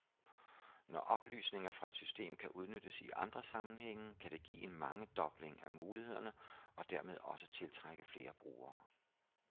Når oplysninger fra et system kan udnyttes i andre sammenhænge, kan det give en mangedobling af mulighederne og dermed også tiltrække flere brugere.